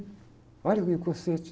Olha o inconsciente.